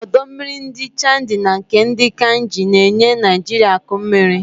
ọdọ mmiri ndi Chadi na nke ndi Kainji na-enye Naijiria akụ mmiri.